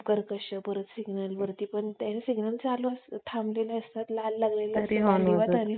अं तर तिचं नाव असत हमना आणि तेच नाव असत हम्म तेच पण नाव हम्म हमनेष असत ती त्या serial मध्ये पण इतकं सुंदर दाखवलेलं आहे